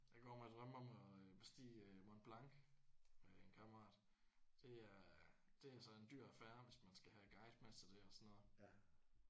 Jeg går og drømmer om bestige øh Mont Blanc med en kammerat. Det er det er altså en dyr affære hvis man skal have en guide med til det og sådan noget